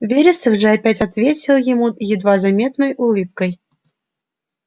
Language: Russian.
вересов же опять ответил ему едва заметной улыбкой